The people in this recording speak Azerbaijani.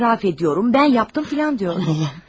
Etiraf edirəm, mən yaptım filan deyirəm.